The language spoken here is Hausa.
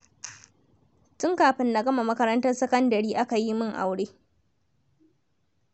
Tun kafin na gama makarantar sakandare aka yi min aure.